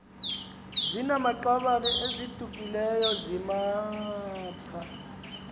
zinamaqabane adukileyo zizimapha